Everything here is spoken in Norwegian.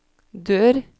dør